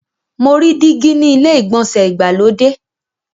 Mo rí dígí ni ilé ìgbọ̀nsẹ̀ ìgbàlódé.